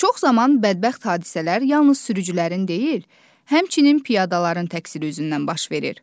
Çox zaman bədbəxt hadisələr yalnız sürücülərin deyil, həmçinin piyadaların təqsiri üzündən baş verir.